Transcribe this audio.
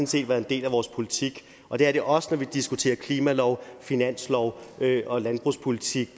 set været en del af vores politik og det er det også når vi diskuterer klimalov finanslov og landbrugspolitik